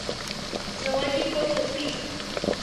заводи подлый пит